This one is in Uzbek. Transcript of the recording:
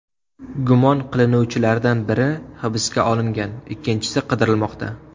Gumon qilinuvchilardan biri hibsga olingan, ikkinchisi qidirilmoqda.